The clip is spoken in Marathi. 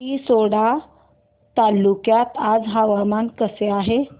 रिसोड तालुक्यात आज हवामान कसे आहे